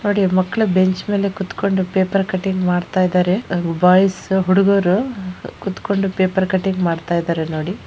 ನೋಡಿ ಮಕ್ಕಳು ಬೆಂಚ್ ಮೇಲೆ ಕುತ್ಕೊಂಡು ಪೇಪರ್ ಕಟಿಂಗ್ ಮಾಡ್ತಾ ಇದಾರೆ ಬಾಯ್ಸ್ ಹುಡುಗರು ಕುತ್ಕೊಂಡು ಪೇಪರ್ ಕಟಿಂಗ್ ಮಾಡ್ತಾ ಇದ್ದಾರೆ ನೋಡಿ.